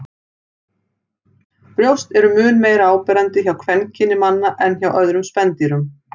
Brjóst eru mun meira áberandi hjá kvenkyni manna en hjá öðrum spendýrum.